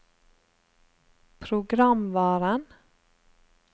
programvaren